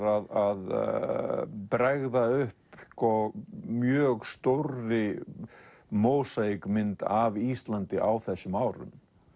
að bregða upp mjög stórri mósaíkmynd af Íslandi á þessum árum